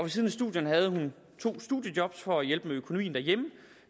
siden af studierne havde hun to studiejob for at hjælpe med økonomien derhjemme